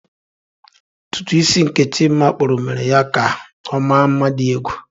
Ntutu isi nke Chima kpuru mere ya ka ọ mma nma di egwu.